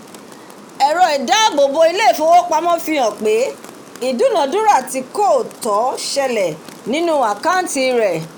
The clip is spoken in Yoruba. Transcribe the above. èro ìdábòbo ilé ìfowópamó fi hàn pé ìdúnà- dúnà tí kò tọ̀ selẹ̀ nínú àkàntì rè